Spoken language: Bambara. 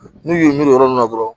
N'u y'u yɔrɔ nunnu na dɔrɔn